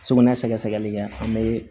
Sugunɛ sɛgɛsɛgɛli kɛ an bɛ